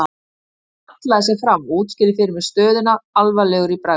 Örn hallaði sér fram og útskýrði fyrir mér stöðuna alvarlegur í bragði.